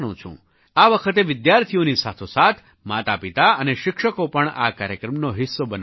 આ વખતે વિદ્યાર્થીઓની સાથોસાથ માતાપિતા અને શિક્ષકો પણ આ કાર્યક્રમનો હિસ્સો બનવાના છે